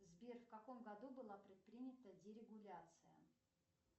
сбер в каком году была предпринята дерегуляция